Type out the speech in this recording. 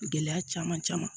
Gɛlɛya caman caman